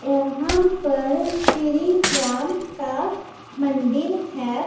यहाँ पर श्री राम का मंदिर है।